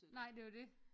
Nej det er jo det